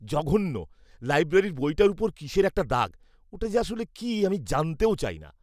জঘন্য! লাইব্রেরির বইটার উপর কিসের একটা দাগ। ওটা যে আসলে কী, আমি জানতেও চাইনা!